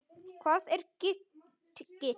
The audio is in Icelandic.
Hvað er gigt?